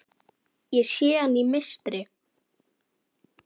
Ég sé hana í mistri.